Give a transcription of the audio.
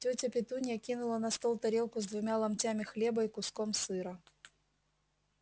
тётя петунья кинула на стол тарелку с двумя ломтями хлеба и куском сыра